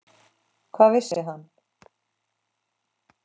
Hvað vissi hann?